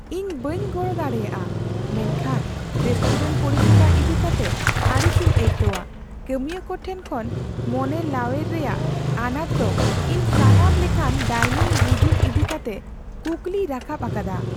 ᱤᱧ ᱵᱟᱹᱧ ᱜᱚᱲᱚ ᱫᱟᱲᱮᱭᱟᱜᱼᱟ ᱢᱮᱱᱠᱷᱟᱱ ᱨᱮᱥᱴᱩᱨᱮᱱᱴ ᱯᱚᱨᱤᱥᱮᱵᱟ ᱤᱫᱤᱠᱟᱛᱮ ᱟᱹᱲᱤᱥᱤᱧ ᱟᱹᱭᱠᱟᱣᱟ ; ᱠᱟᱹᱢᱤᱭᱟᱹ ᱠᱚᱴᱷᱮᱱ ᱠᱷᱚᱱ ᱢᱚᱱᱮᱞᱟᱣᱮᱭ ᱨᱮᱭᱟᱜ ᱟᱱᱟᱴ ᱫᱚ ᱤᱧ ᱥᱟᱱᱟᱢ ᱞᱮᱠᱟᱱ ᱰᱟᱭᱱᱤᱝ ᱵᱩᱡᱩᱱ ᱤᱫᱤᱠᱟᱛᱮ ᱠᱩᱠᱞᱤᱭ ᱨᱟᱠᱟᱵ ᱟᱠᱟᱫᱟ ᱾